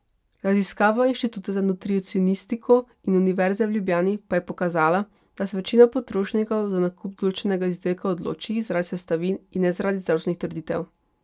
Raziskava Inštituta za nutricionistiko in Univerze v Ljubljani pa je pokazala, da se večina potrošnikov za nakup določenega izdelka odloči zaradi sestavin in ne zaradi zdravstvenih trditev.